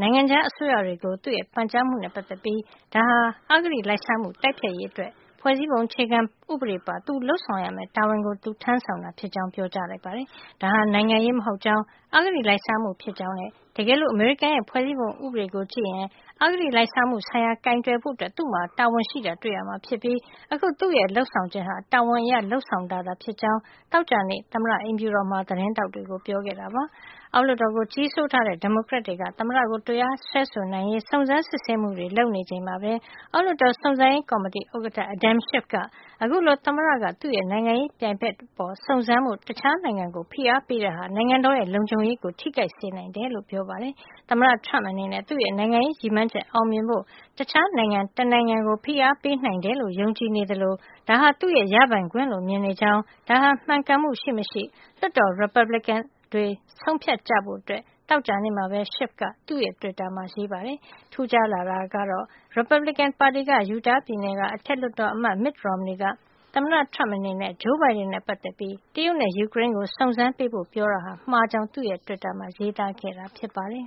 နိုင်ငံခြားအစိုးရတွေကို သူ့ရဲ့ ပန်ကြားမှုနဲ့ ပတ်သက်ပြီး ဒါဟာ အဂတိလိုက်စားမှု တိုက်ဖျက်ရေးအတွက် ဖွဲ့စည်းပုံအခြေခံဥပဒေပါ သူလုပ်ဆောင်ရမယ့် တာဝန်ကို သူထမ်းဆောင်တာ ဖြစ်ကြောင်း ပြောကြားလိုက်ပါတယ်။ ဒါဟာနိုင်ငံရေးမဟုတ်ကြောင်း အဂတိလိုက်စားမှု ဖြစ်ကြောင်းနဲ့ တကယ်လို့ အမေရိကန်ရဲ့ ဖွဲ့စည်းပုံဥပဒေကို ကြည့်ရင် အဂတိလိုက်စားမှု ဆိုင်ရာကို ကိုင်တွယ်ဖို့ သူ့မှာ တာဝန်ရှိတာကို တွေ့ရမှာ ဖြစ်ပြီး အခု သူ့ရဲ့ လုပ်ဆောင်ချက်ဟာ တာဝန်အရ လုပ်ဆောင်တာသာ ဖြစ်ကြောင်း သောကြာနေ့ သမ္မတအိမ်ဖြူတော်မှာ သတင်းထောက်တွေကို ပြောခဲ့တာပါ။ အောက်လွှတ်တော်ကို ကြီးစိုးထားတဲ့ ဒီမိုကရက်တွေက သမ္မတကို တရားစွဲဆိုနိုင်ရေး စုံစမ်းစစ်ဆေးမှုတွေ လုပ်နေချိန်မှာပဲ အောက်လွှတ်တော် စုံစမ်းရေးကော်မတီဥက္ကဌAdam Schiff က အခုလို သမ္မတက သူ့နိုင်ငံရေး ပြိုင်ဘက် အပေါ် စုံစမ်းဖို့ တခြားနိုင်ငံကို ဖိအားပေးတာဟာ နိုင်ငံတော်ရဲ့ လုံခြုံရေးကို ထိခိုက်စေနိုင်တယ်လို့ ပြောပါတယ်။ သမ္မတ Trump အနေနဲ့ သူ့ရဲ့ နိုင်ငံရေးရည်မှန်းချက် အောင်မြင်ဖို့ တခြားနိုင်ငံ တနိုင်ငံကို ဖိအားပေးနိုင်တယ်လို့ ယုံကြည်နေသလို ဒါဟာ သူ့ရဲ့ ရပိုင်ခွင့်လို့ မြင်နေကြောင်း ဒါဟာမှန်ကန်မှု ရှိမရှိ လွှတ်တော်က ရီပတ်ဘလစ်ကင်တွေ ဆုံးဖြတ်ကြဖို့ သောကြာနေ့မှာပဲ Schiff က သူ့တွစ်တာမှာ ရေးပါတယ်။ ဒီ့အတွက် ထူးခြားလာတာကတော့ ရီပတ်ဘလစ်ကင်ပါတီက Utah ပြည်နယ် အထက်လွှတ်တော်အမတ် Mitt Romney က သမ္မတ Trump အနေနဲ့ Joe Biden နဲ့ ပတ်သက်ပြီး တရုတ်နဲ့ ယူကရိန်းကို စုံးစမ်းပေးဖို့ ပြောတာဟာ မှားကြောင်း သူ့တွစ်တာမှာ ရေးသားခဲ့တာ ဖြစ်ပါတယ်။